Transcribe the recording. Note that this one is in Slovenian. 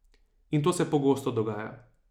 In to se pogosto dogaja.